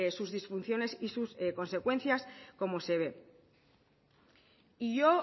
sus disfunciones y sus consecuencias como se ve